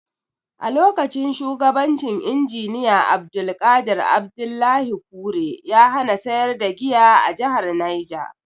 A lokacin shugabancin Injiniya Abdulqadir Abdullahi Kure, ya hana sayar da giya a jahar Neja.